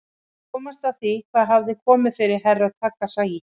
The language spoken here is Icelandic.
Að komast að því hvað hafði komið fyrir Herra Takashi.